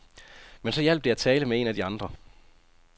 Men så hjalp det at tale med en af de andre.